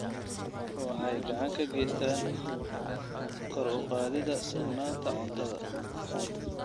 Waxay gacan ka geystaan ??kor u qaadida sugnaanta cuntada.